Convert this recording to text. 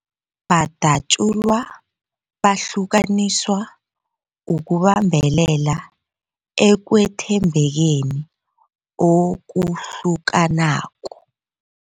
Badatjulwa, bahlukaniswa ukubambelela ekwethembekeni okuhlukanako.